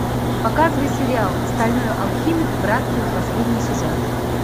показывай сериал стальной алхимик братство последний сезон